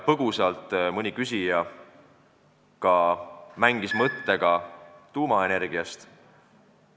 Põgusalt mängis mõni küsija ka mõttega tuumaenergiast.